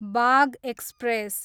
Bagh express